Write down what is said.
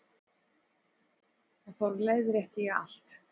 Og þá leiðrétti ég allt.